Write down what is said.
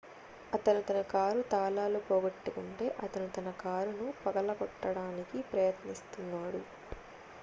అతను తన కారు తాళాలు పోగొట్టుకుంటే అతను తన కారు ను పగలగొట్టడానికి ప్రయత్నిస్తున్నాడు